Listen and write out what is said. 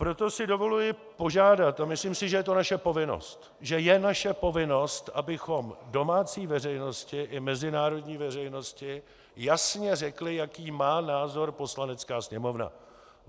Proto si dovoluji požádat - a myslím si, že je to naše povinnost, že je naše povinnost, abychom domácí veřejnosti i mezinárodní veřejnosti jasně řekli, jaký má názor Poslanecká sněmovna.